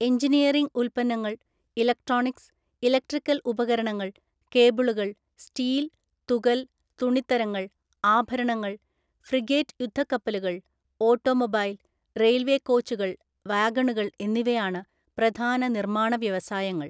Engineering ഉൽപ്പന്നങ്ങൾ, electronics, electrical ഉപകരണങ്ങൾ, കേബിളുകൾ, സ്റ്റീൽ, തുകൽ, തുണിത്തരങ്ങൾ, ആഭരണങ്ങൾ, ഫ്രിഗേറ്റ് യുദ്ധക്കപ്പലുകൾ, ഓട്ടോമൊബൈൽ, റെയിൽവേ കോച്ചുകൾ, വാഗണുകൾ എന്നിവയാണ് പ്രധാന നിർമ്മാണ വ്യവസായങ്ങൾ.